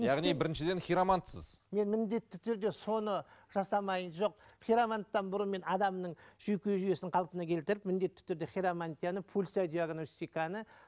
яғни біріншіден хиромантсыз мен міндетті түрде соны жасамай жоқ хироманттан бұрын мен адамның жүйке жүйесін қалпына келтіріп міндетті түрде хиромантияны пульсодиагностиканы